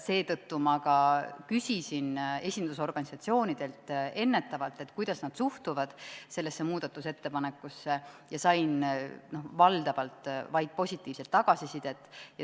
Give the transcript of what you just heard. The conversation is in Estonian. Seetõttu küsisin ma ennetavalt esindusorganisatsioonidelt, kuidas nad suhtuvad sellesse muudatusettepanekusse, ja sain valdavalt vaid positiivset tagasisidet.